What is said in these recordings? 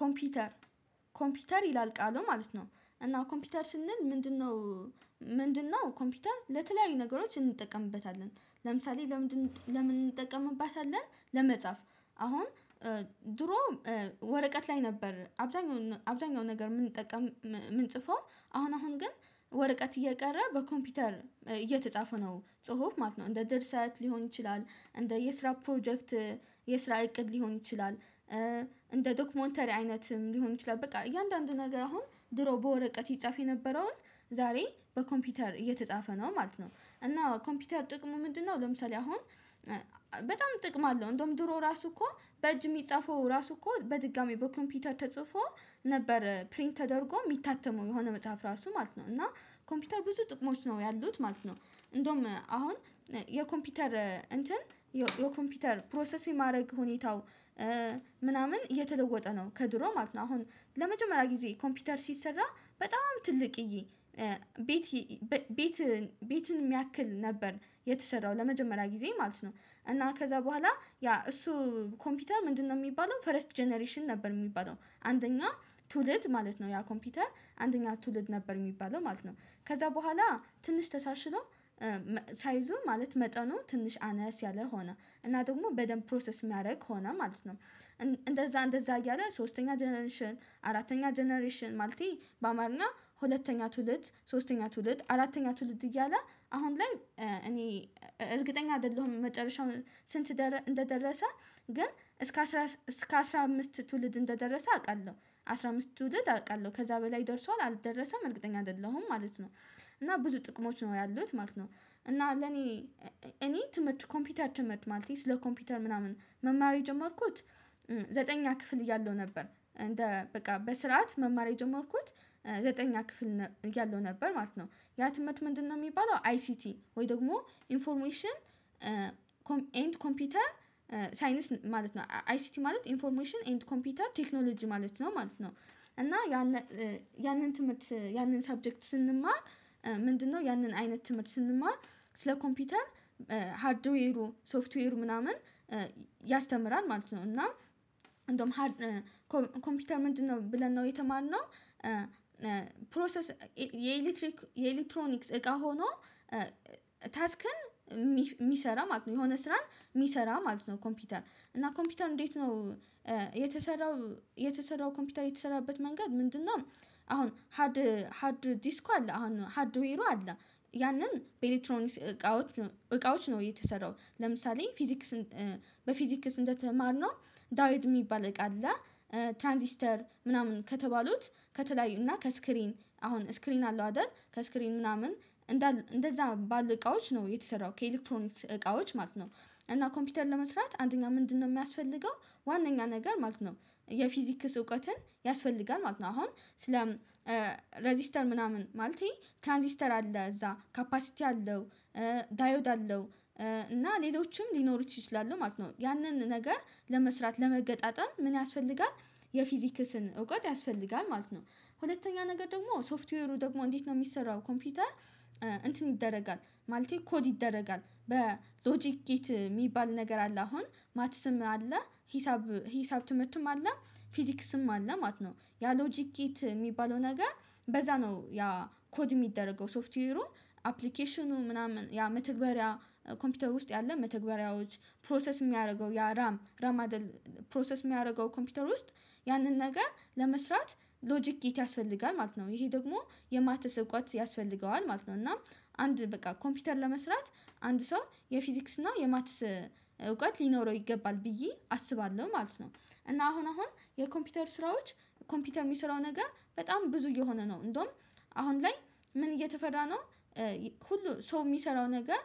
ኮምፒውተር ኮምፒውተር ይላል ቃሉ ማለት ነው። እና ኮምፒውተር ስንል ምንድነው ምንድነው ኮምፒውተር ለተለያዩ ነገሮች እንጠቀምበታለን ለምሳሌ ለምንድነው ለምን እንጠቀምባታለን ለመጻፍ አሁን ድሮ ወረቀት ላይ ነበር አብዛኛው አብዛኛው ነገር የምንጠቀም የምንጽፈው አሁን አሁን ግን ወረቀት እየቀረ በኮምፒውተር እየተጻፈ ነው። ጽሁፍ ማለት ነው። እንደ ድርሰት ሊሆን ይችላል፣ እንደ የስራ ፕሮጀክት የስራ እቅድ ሊሆን ይችላል እንደ ዶክሞንተሪ አይነትም ሊሆን ይችላል በቃ እያንዳንዱ ነገር አሁን ድሮ በወረቀት ይጻፍ የነበረውን ዛሬ በኮምፒውተር እየተጻፈ ነው ማለት ነው። እና ኮምፒውተር ጥቅሙ ምንድነው ለምሳሌ አሁን በጣም ጥቅም አለው እንደውም ድሮ ራሱ እኮ በእጅ የሚጻፈው ራሱ እኮ በድጋሚ በኮምፒውተር ተጽፎ ነበር ፕሪንት ተደርጎ የሚታተመው የሆነ መጽሐፍ ራሱ ማለት ነው። እና ኮምፒውተር ብዙ ጥቅሞች ነው ያሉት ማለት ነው። እንደውም አሁን የኮምፒውተር እንትን የኮምፒውተር ፕሮሰስ የማድረግ ሁኔታው ምናምን እየተለወጠ ነው ከድሮ ማለት ነው። አሁን ለመጀመሪያ ጊዜ ኮምፒውተር ሲሰራ በጣም ትልቅ እዬ እ ቤት ቤት ቤትን የሚያክል ነበር የተሰራው ለመጀመሪያ ጊዜ ማለት ነው። እና ከዛ በኋላ ያ እሱ ኮምፒውተር ምንድነው የሚባለው ፈረስት ጀነሬሽን ነበር የሚባለው አንደኛ ትውልድ ማለት ነው። ያ ኮምፒውተር አንደኛ ትውልድ ነበር የሚባለው ማለት ነው። ከዛ በኋላ ትንሽ ተሳሽሎ ሳይዙ ማለት መጠኑ ትንሽ አነስ ያለ ሆነ እና ደግሞ በደንብ ፕሮሰስ የሚያደርግ ሆነ ማለት ነው። እንደዛ እንደዛ እያለ ሶስተኛ ጀነሬሽን፣ አራተኛ ጀነሬሽን፣ ማለቴ በአማርኛ ሁለተኛ ትውልድ፣ ሶስተኛ ትውልድ፣ አራተኛ ትውልድ እያለ አሁን ላይ እኔ እርግጠኛ አይደለሁም። መጨረሻውን ስንት እንደደረሰ ግን እስከ እስከ አስራ አምስት ትውልድ እንደደረሰ አውቃለሁ አስራ አምስት ትውልድ አውቃለሁ ከዛ በላይ ደርሷል አልደረሰም እርግጠኛ አይደለሁም ማለት ነው። እና ብዙ ጥቅሞች ነው ያሉት ማለት ነው። እና ለኔ እኔ፣ ትምህርት ኮምፒውተር ትምህርት ማለት ነው ስለ ኮምፒውተር ምናምን መማር የጀመርኩት ዘጠኝ ክፍል እያለሁ ነበር። በቃ በስርዓት መማር የጀመርኩት ዘጠኝ ክፍል እያለው ነበር ማለት ነው። ያትመት ምንድነው የሚባለው አይሲቲ ወይ ደግሞ ኢንፎርሜሽን ኤንድ ኮምፒውተር ሳይነስ ማለት ነው። አይሲቲ ማለት ኢንፎርሜሽን ኤንድ ኮምፒውተር ቴክኖሎጂ ማለት ነው ማለት ነው። እና ያንን፣ ያንን ትምህርት ያንን ሰብጀክት ስንማር ምንድነው ያንን አይነት ትምህርት ስንማር ስለ ኮምፒውተር፣ ሃርድዌሩ፣ ሶፍትዌሩ ምናምን ያስተምራል ማለት ነው። እና እንደውም ኮምፒውተር ምንድነው ብለን ነው የተማርነው ፕሮሰስ የኤሌክትሪክ የኤሌክትሮኒክስ እቃ ሆኖ ታስክን የሚሰራ ማለት ነው። የሆነ ስራን የሚሰራ ማለት ነው ኮምፒውተር እና ኮምፒውተር እንዴት ነው የተሰራው የተሰራው ኮምፒውተር የተሰራበት መንገድ ምንድነው? አሁን ሃድ ሃድ ዲስኩ አለ፣ አሁን ሃድ ዱ ሂሩ አለ ያንን በኤሌክትሮኒስ እቃዎች እቃዎች ነው የተሰራው ለምሳሌ፣ ፊዚክስን በፊዚክስ እንደተማርነው ዳዊድ የሚባል እቃ አለ ትራንሲስተር ምናምን ከተባሉት ከተለያዩ፣ እና ከስክሪን አሁን ስክሪን አለው አይደል? ከስክሪን ምናምን እንደዛ ባል እቃዎች ነው የተሰራው ከኤሌክትሮኒክስ እቃዎች ማለት ነው። እና ኮምፒውተር ለመስራት አንደኛ ምንድነው የሚያስፈልገው ዋናኛ ነገር ማለት ነው የፊዚክስ እውቀትን ያስፈልጋል ማለ ነው። አሁን ስለ ሬዚስተር ምናምን ማለት ይሄ ትራንዚስተር አለ፣ እዛ ካፓሲቲ አለው ዳዮድ አለው፣ እና ሌሎችም ሊኖሩት ይችላሉ ማለት ነው። ያንን ነገር ለመስራት፣ ለመገጣጠም ምን ያስፈልጋል? የፊዚክስን እውቀት ያስፈልጋል ማለት ነው። ሁለተኛ ነገር ደግሞ ሶፍትዌሩ ደግሞ እንዴት ነው የሚሰራው? ኮምፒውተር እንትን ይደረጋል ማለቴ ኮድ ይደረጋል። በሎጂክ ኬት የሚባል ነገር አለ፣ አሁን ማትስም አለ ሂሳብ፣ ሂሳብ ትምህርትም አለ። ፊዚክስም አለ፣ ማት ነው። ያ ሎጂክ እየተባለው ነገር በዛ ነው፣ ያ ኮድ የሚደረገው፣ ሶፍትዌ፣ አፕሊኬሽኑ ምናምን ያ መተግበሪያ ኮምፒውተር ውስጥ ያለ መተግበሪያዎች፣ ፕሮሰስ የሚያደርገው ያ ራም፣ ራም አደል ፕሮሰስ የሚያደርገው ኮምፒውተር ውስጥ ያንን ነገር ለመስራት ሎጂክ ጊት ያስፈልጋል ማለት ነው። ይሄ ደግሞ የማትስ እውቀት ያስፈልገዋል ማለት ነው። እና አንድ፣ በቃ ኮምፒውተር ለመስራት አንድ ሰው የፊዚክስ እና የማትስ እውቀት ሊኖረው ይገባል ብዬ አስባለሁ ማለት ነው። እና አሁን አሁን የኮምፒውተር ስራዎች ኮምፒውተር የሚሰራው ነገር በጣም ብዙ እየሆነ ነው። እንደውም አሁን ላይ ምን እየተፈራ ነው! ሁሉ ሰው የሚሰራው ነገር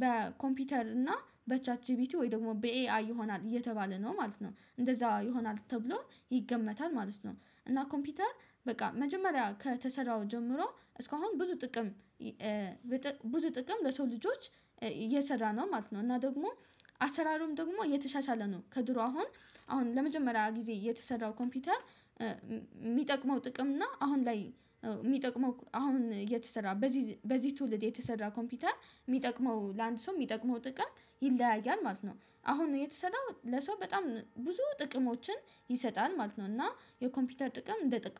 በኮምፒውተር እና በቻት ጂቢቲ ወይ ደግሞ በኤአይ ይሆናል እየተባለ ነው፣ ማለት ነው። እንደዛ ይሆናል ተብሎ ይገመታል ማለት ነው። እና ኮምፒውተር በቃ መጀመሪያ ከተሰራው ጀምሮ እስካሁን ብዙ ጥቅም ብዙ ጥቅም ለሰው ልጆች እየሰራ ነው። ማለት ነው። እና ደግሞ አሰራሩም ደግሞ እየተሻሻለ ነው። ከድሮ አሁን አሁን ለመጀመሪያ ጊዜ የተሰራው ኮምፒውተር የሚጠቅመው ጥቅም እና አሁን ላይ የሚጠቅመው አሁን የተሰራ በዚህ በዚህ ትውልድ የተሰራ ኮምፒውተር የሚጠቅመው ለአንድ ሰው የሚጠቅመው ጥቅም ይለያያል ማለት ነው። አሁን እየተሰራው ለሰው በጣም ብዙ ጥቅሞችን ይሰጣል ማለት ነው። እና የኮምፒውተር ጥቅም፣ እንደጠቀሱ